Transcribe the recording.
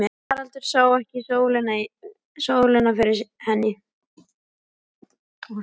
Haraldur sá ekki sólina fyrir henni.